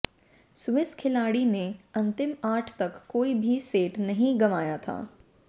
Swiss खिलाड़ी ने अंतिम आठ तक कोई भी सेट नहीं गंवाया था